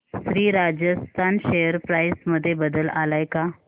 Shri Rajasthan share price मध्ये बदल आलाय का